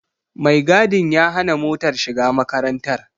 Mai gadin ya hana motar shiga makarantar.